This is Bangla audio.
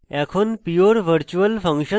এখন pure virtual function দেখি